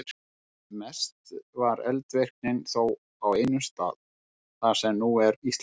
Mest var eldvirknin þó á einum stað, þar sem nú er Ísland.